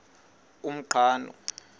umqhano